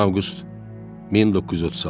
10 avqust 1936.